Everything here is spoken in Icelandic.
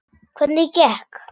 Hvernig gekk?